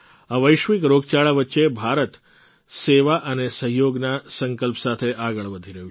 આ વૈશ્વિક રોગચાળા વચ્ચે ભારત સેવા અને સહયોગના સંકલ્પ સાથે આગળ વધી રહ્યું છે